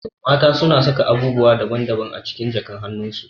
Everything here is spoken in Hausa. Mata na saka abubuwa daban daban a cikin jakan hanun su